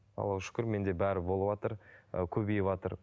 аллаға шүкір менде бәрі болыватыр ы көбейіватыр